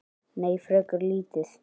Nei, frekar lítið.